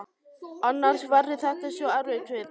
Annars verður þetta svo erfitt fyrir þig.